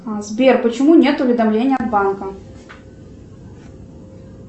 сбер почему нет уведомления от банка